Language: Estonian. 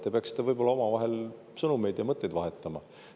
Te peaksite võib-olla omavahel sõnumeid ja mõtteid vahetama.